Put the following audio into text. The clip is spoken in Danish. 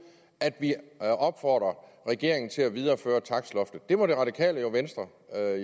at vi opfordrer regeringen til at videreføre takstloftet det må det radikale venstre